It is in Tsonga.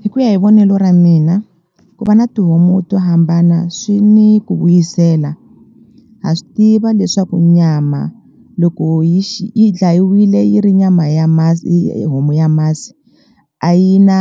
Hi ku ya hi vonelo ra mina ku va na tihomu to hambana swi ni ku vuyisela ha swi tiva leswaku nyama loko yi yi dlayiwile yi ri nyama ya masi homu ya masi a yi na